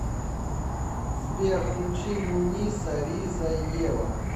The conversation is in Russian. сбер включи муниса ризаева